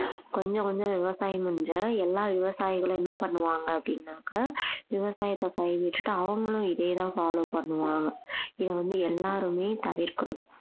கொஞ்சம் கொஞ்சம் விவசாயம் எல்லா விவசாயிகளும் என்ன பண்ணுவாங்க அப்படின்னாக்கா விவசாயத்தை கைவிட்டுட்டு அவங்களும் இதையேதான் follow பண்ணுவாங்க இதை வந்து எல்லாருமே தவிர்க்கணும்